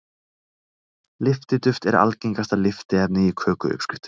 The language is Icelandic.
Lyftiduft er algengasta lyftiefni í kökuuppskriftum.